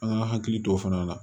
An ka hakili to o fana na